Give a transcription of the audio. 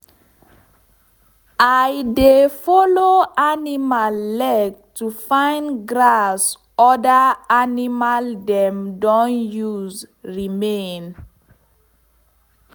i de follow animal leg to fine grass other animal dem don use remain